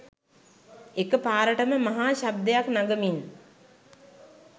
එක පාරටම මහා ශබ්දයක් නගමින්